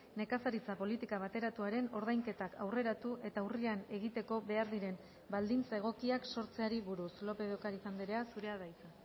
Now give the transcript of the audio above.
nekazaritza politika bateratuaren ordainketak aurreratu eta urrian egiteko behar diren baldintza egokiak sortzeari buruz lópez de ocariz andrea zurea da hitza